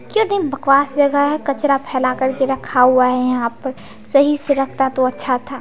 कितनी बकवास जगह है कचड़ा फैला कर रखा हुआ है यहाँ पर सही से रखता तो अच्छा था।